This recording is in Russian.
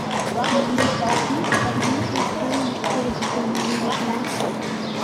молодой детектив ди восстание морского дракона выведи мне